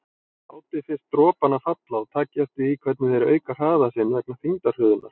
Látið fyrst dropana falla og takið eftir því hvernig þeir auka hraða sinn vegna þyngdarhröðunar.